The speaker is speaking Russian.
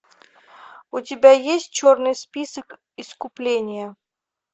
у тебя есть черный список искупление